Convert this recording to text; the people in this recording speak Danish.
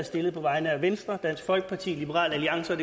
stillet på vegne af venstre dansk folkeparti liberal alliance